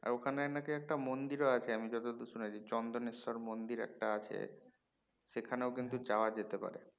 আর ওখানে নাকি একটা মন্দিরও আছে আমি যতদূর শুনেছি চন্দনেশ্বর মন্দির একটা আছে সেখানেও কিন্তু যাওয়া যেতে পারে